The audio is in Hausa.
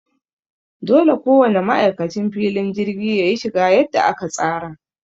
Dole ko wane ma'aikacin filin jirgi yayi shiga yadda aka tsara.